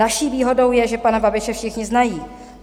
Naší výhodou je, že pana Babiše všichni znají.